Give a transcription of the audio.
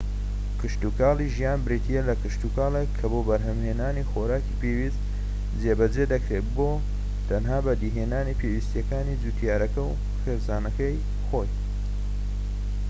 کشتوکاڵی ژیان بریتیە لە کشتوکاڵێک کە بۆ بەرھەمھێنانی خۆراکی پێویست جێبەجێ دەکرێت بۆ تەنها بەدیهێنانی پێویستیەکانی جووتیارەکە و خێزانەکەی خۆی